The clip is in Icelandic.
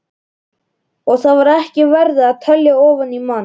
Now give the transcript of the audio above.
Og þar var ekki verið að telja ofan í mann.